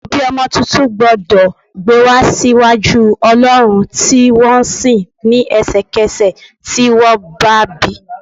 Òbí ọmọ tuntun gbọ́dọ̀ gbé wa sí iwájú olọrun tí wọ́n ń sìn ní ẹsẹkese tí wọ́n bá bi.